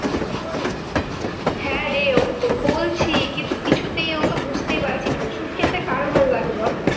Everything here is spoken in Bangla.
হ্যাঁ রে আমি তো বলছি, কিন্তু কিছুতেই ও তো বুঝতেই পারছিস ওষুধ খেতে কার ভালো লাগে বল?